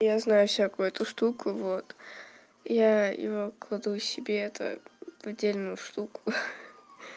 я знаю всякую эту штуку вот я его кладу себе это в отдельную штуку